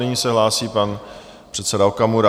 Nyní se hlásí pan předseda Okamura.